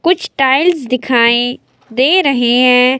कुछ टाइल्स दिखाई दे रहे हैं।